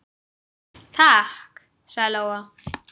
Takk, sagði Lóa.